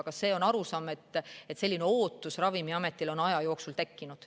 Aga see on see arusaam, et selline ootus on Ravimiametile aja jooksul tekkinud.